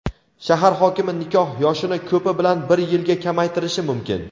shahar hokimi nikoh yoshini ko‘pi bilan bir yilga kamaytirishi mumkin.